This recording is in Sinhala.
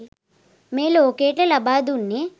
මේ ලෝකයට ලබා දුන්නෙ.